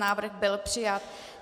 Návrh byl přijat.